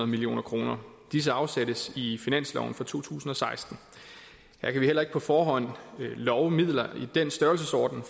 million kroner disse afsættes i finansloven for to tusind og seksten her kan vi heller ikke på forhånd love midler i den størrelsesorden